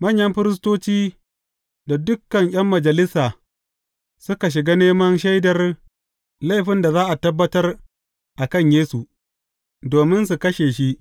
Manyan firistoci da dukan ’yan Majalisa, suka shiga neman shaidar laifin da za a tabbatar a kan Yesu, domin su kashe shi.